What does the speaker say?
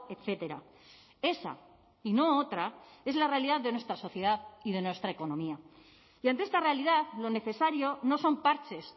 etcétera esa y no otra es la realidad de nuestra sociedad y de nuestra economía y ante esta realidad lo necesario no son parches